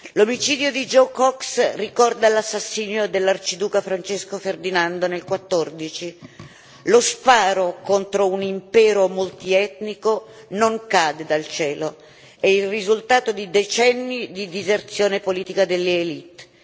L'omicidio di Joe Cox ricorda l'assassinio dell'arciduca Francesco Ferdinando nel 1914 lo sparo contro un impero multietnico non cade dal cielo, è il risultato di decenni di diserzione politica delle élites